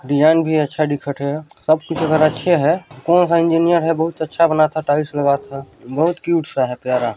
design भी अच्छा दिखत थे सबकुछ अकार अच्छे है कौन सा इंजीनियर है बहुत अच्छा बनाता है टाइल्स लगता है बहत क्यूट सा है प्यार--